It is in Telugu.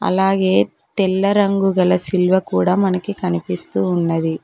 అలాగే తెల్ల రంగు గల సిల్వ కూడా మనకి కనిపిస్తూ ఉన్నది.